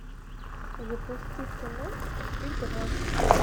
запусти кино игра